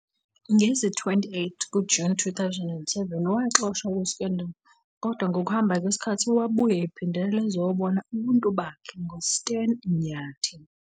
Ngo-28 Juni 2007, waxoshwa kuScandal! kodwa ngokuhamba kwesikhathi wabuya ephindelela ezobona ubuntu bakhe ngoStan Nyathi.